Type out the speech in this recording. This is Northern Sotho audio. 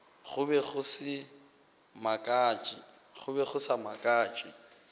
go be go sa makatše